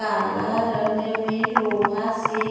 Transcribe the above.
काला रंग एमे लोहा से --